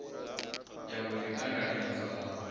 ya mbo ḓi ṱanganedzwa ha